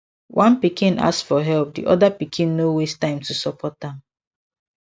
one pikin ask for help the other pikin no waste time to support am